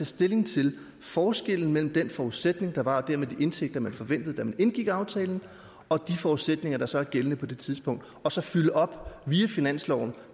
stilling til forskellen mellem den forudsætning der var og dermed de indtægter man forventede da man indgik aftalen og de forudsætninger der så er gældende på det tidspunkt og så fylde op via finansloven